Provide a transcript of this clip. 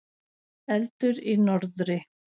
Eldur í norðri.